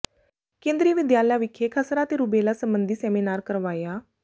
ਕੇਂਦਰੀ ਵਿਦਿਆਲਿਆ ਵਿਖੇ ਖਸਰਾ ਤੇ ਰੁਬੇਲਾ ਸਬੰਧੀ ਸੈਮੀਨਾਰ ਕਰਵਾਇਆ